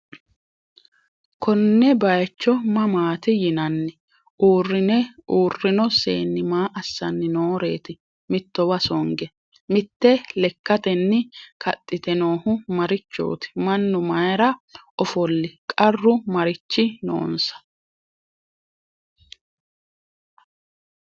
Konne bayiichcho mamaatti yinaanni? Uurinno seenni maa assanni nooreetti mittowa songe? Mitte lekkattenni kaxitte noohu marichooti? Mannu mayiira offoli? qarru marichi noonsa?